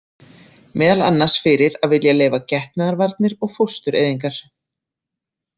Meðal annars fyrir að vilja leyfa getnaðarvarnir og fóstureyðingar.